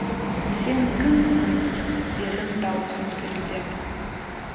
сен кімсің дедім дауысым дірілдеп